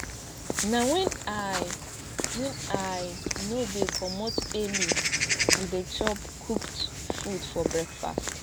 na wen i wen i no dey comot early we dey chop cooked food for breakfast